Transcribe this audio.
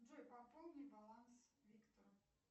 джой пополни баланс виктора